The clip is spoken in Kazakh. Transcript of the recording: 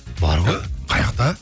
бар ғой қайақта